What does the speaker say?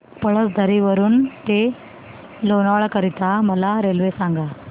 पळसधरी वरून ते लोणावळा करीता मला रेल्वे सांगा